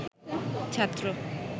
ছাত্র